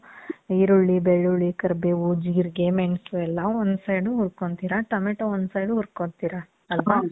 ಈರುಳ್ಳಿ, ಬೆಳ್ಳುಳ್ಳಿ, ಕರ್ಬೇವು, ಜೀರ್ಗೆ, ಮೆಣಸು ಎಲ್ಲ one side ಹುರ್ಕೊಂತೀರ. tomato one side ಹುರ್ಕೊಂತೀರ. ಅಲ್ವಾ?